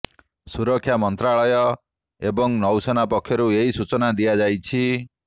ସୁରକ୍ଷା ମନ୍ତ୍ରାଳୟ ଏବଂ ନୌସେନା ପକ୍ଷରୁ ଏହି ସୂଚନା ଦିଆଯାଇଛି